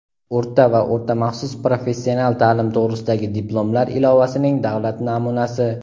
o‘rta va o‘rta maxsus professional ta’lim to‘g‘risidagi diplomlar ilovasining davlat namunasi;.